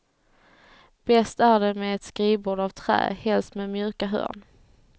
Bäst är det med ett skrivbord av trä, helst med mjuka hörn.